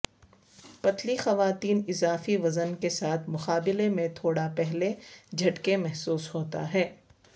پتلی خواتین اضافی وزن کے ساتھ مقابلے میں تھوڑا پہلے جھٹکے محسوس ہوتا ہے